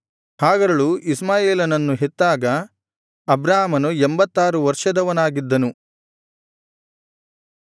ಹಾಗರಳು ಇಷ್ಮಾಯೇಲನನ್ನು ಹೆತ್ತಾಗ ಅಬ್ರಾಮನು ಎಂಭತ್ತಾರು ವರ್ಷದವನಾಗಿದ್ದನು